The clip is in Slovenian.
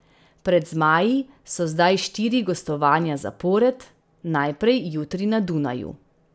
Pred zmaji so zdaj štiri gostovanja zapored, najprej jutri na Dunaju.